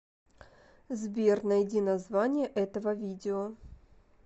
сбер найди название этого видео